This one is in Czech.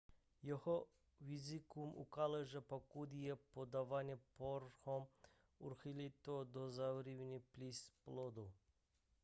jeho výzkum ukázal že pokud je podáván hormon urychlí to dozrávání plic plodu